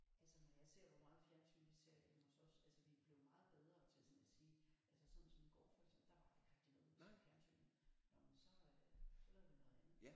Altså når jeg ser hvor meget fjernsyn vi ser hjemme hos os altså vi er blevet meget bedre til sådan at sige altså sådan som i går for eksempel der var der ikke rigtig noget at se i fjernsynet nå men så så lavede vi noget andet